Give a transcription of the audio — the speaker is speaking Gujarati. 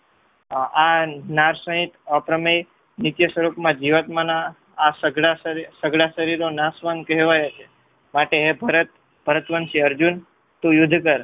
આ નાર સહીત અપ્રમેય નિત્યસ્વરૂપમાં જીવત્માના આ સઘળા શરીરો નાશવંત કહેવાય છે. માટે હે ભરત ભરતવંશી અર્જુન તું યુદ્ધ કર